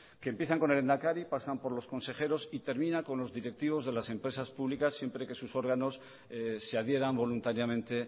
que empiezan con el lehendakari pasan por los consejeros y termina con los directivos de las empresas públicas siempre que sus órganos se adhieran voluntariamente